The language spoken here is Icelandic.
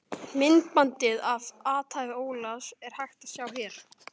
Myndbandið af athæfi Ólafs, er hægt að sjá hér.